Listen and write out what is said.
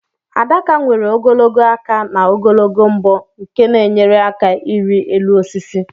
Adaka nwere ogologo aka na ogologo mbọ nke na enyere aka irị elu osisi